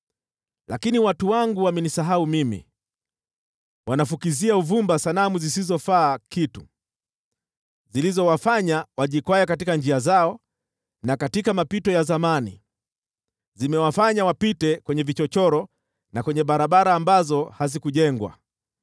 Lakini watu wangu wamenisahau mimi, wanafukizia uvumba sanamu zisizofaa kitu, zilizowafanya wajikwae katika njia zao na katika mapito ya zamani. Zimewafanya wapite kwenye vichochoro na kwenye barabara ambazo hazikujengwa.